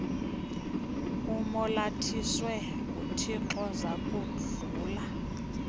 umolathiswe nguthixo zakudlula